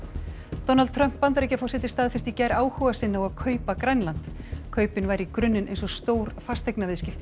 Donald Trump Bandaríkjaforseti staðfesti í gær áhuga sinn á að kaupa Grænland kaupin væru í grunninn eins og stór fasteignaviðskipti